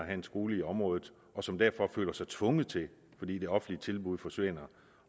en skole i området og som derfor føler sig tvunget til fordi det offentlige tilbud forsvinder